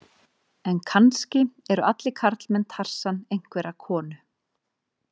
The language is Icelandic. En kannski eru allir karlmenn Tarsan einhverrar konu.